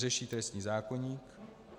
Řeší trestní zákoník.